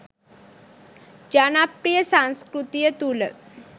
ජනප්‍රිය සංස්කෘතිය තුළ